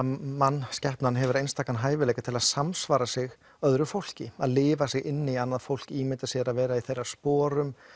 mannskepnan hefur einstaka eiginleika til þess að samsvara sig öðru fólki lifa sig inn í annað fólk ímynda sér að vera í þeirra sporum